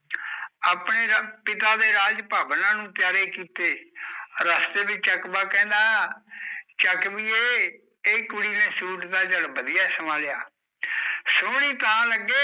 ਆਪਣੇ ਪਿਤਾ ਦੇ ਰਾਜ ਭਵਨਾਂ ਨੂੰ ਪਿਆਰੇ ਕੀਤੇ ਰਸਤੇ ਵਿੱਚ ਚਕਵਾ ਕਹਿੰਦਾ ਚਕਵੀਏ, ਇਹ ਕੁੜੀ ਨੇ ਸੂਟ ਤਾਂ ਚੱਲ ਵਧੀਆ ਸਵਾ ਲਿਆ ਸੋਹਣੀ ਤਾਂ ਲੱਗੇ